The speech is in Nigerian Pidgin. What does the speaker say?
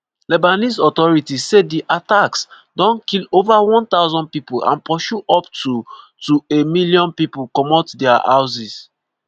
lebanese authorities say di attacks don kill ova 1000 pipo and pursue up to to a million pipo comot dia houses.